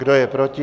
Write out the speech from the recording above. Kdo je proti?